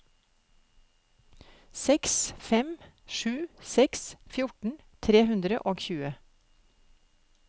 seks fem sju seks fjorten tre hundre og tjue